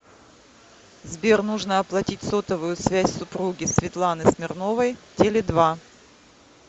сбер нужно оплатить сотовую связь супруги светланы смирновой теле два